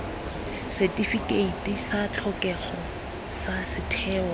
setifikeiti sa tlhokego sa setheo